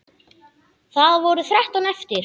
Það voru þrettán eftir!